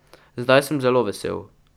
Zdaj sem zelo vesel.